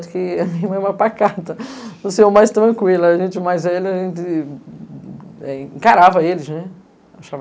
Porque a minha irmã é uma pacata, você é o mais tranquila, a gente mais velho, a gente encarava eles, né.